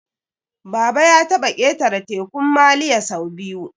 Baba ya taɓa ƙetara Tekun Maliya sau biyu